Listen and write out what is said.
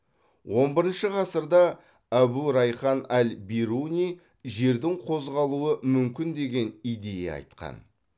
он бірінші ғасырда әбу райхан әл бируни жердің қозғалуы мүмкін деген идея айтқан